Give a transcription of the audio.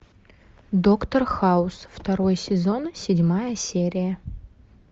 доктор хаус второй сезон седьмая серия